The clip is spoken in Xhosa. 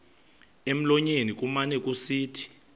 emlonyeni kumane kusithi